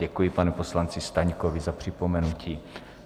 Děkuji panu poslanci Staňkovi za připomenutí.